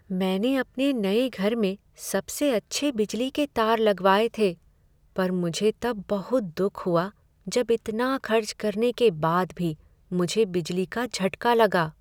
मैंने अपने नए घर में सबसे अच्छे बिजली के तार लगवाये थे पर मुझे तब बहुत दुख हुआ जब इतना खर्च करने के बाद भी मुझे बिजली का झटका लगा।